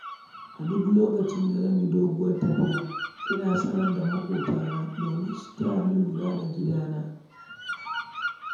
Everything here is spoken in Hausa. A duk lokacin da zan yi doguwar tafiya ina sanar da makwabtana don su tayani lura da gidana.